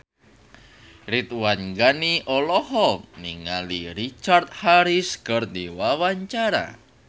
Ridwan Ghani olohok ningali Richard Harris keur diwawancara